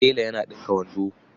Tela yana ɗinka wando.